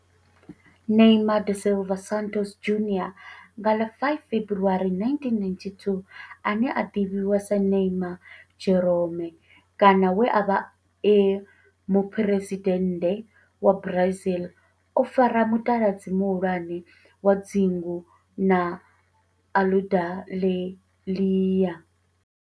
Neymar da Silva Santos Junior, nga ḽa 5 February 1992, ane a ḓivhiwa sa Ne'ymar' Jeromme kana we a vha e muphuresidennde wa Brazil o fara mutaladzi muhulwane wa dzingu la Aludalelia.